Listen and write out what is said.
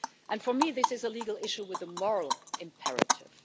And for me this is a legal issue with a moral imperative.